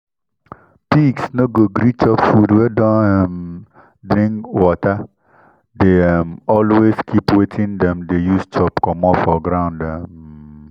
pigs no go gree chop food wey don um dring water dey um always keep wetin them dey use chop commot for ground. um